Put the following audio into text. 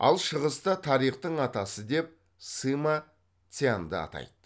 ал шығыста тарихтың атасы деп сыма цяньді атайды